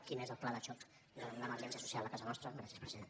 quin és el pla de xoc davant l’emergència social a casa nostra gràcies president